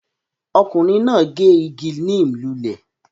Ọkùnrin náà gé igi neem lulẹ̀